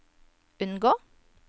unngå